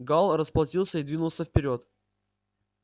гаал расплатился и двинулся вперёд